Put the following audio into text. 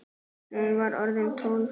Hún var orðin tólf!